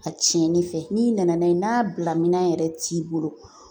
A cɛnni fɛ n'i nana n'a ye n'a bila minɛn yɛrɛ t'i bolo